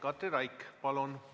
Katri Raik, palun!